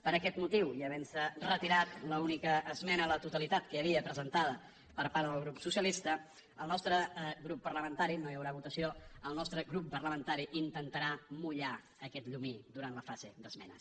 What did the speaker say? per aquest motiu i havent se retirat l’única esmena a la totalitat que hi havia presentada per part del grup socialista no hi haurà votació el nostre grup parlamentari intentarà mullar aquest llumí durant la fase d’esmenes